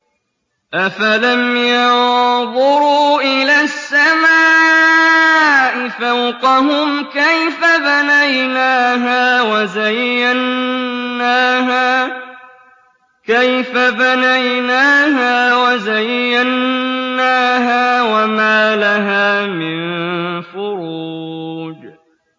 أَفَلَمْ يَنظُرُوا إِلَى السَّمَاءِ فَوْقَهُمْ كَيْفَ بَنَيْنَاهَا وَزَيَّنَّاهَا وَمَا لَهَا مِن فُرُوجٍ